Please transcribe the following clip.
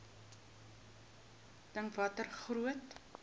dink watter groot